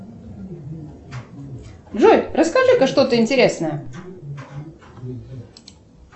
джой расскажи ка что то интересное